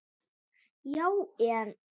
Já, en.